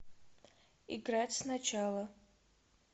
играть сначала